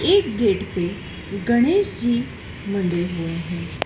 इस गेट पे गणेश जी बने हुए हैं।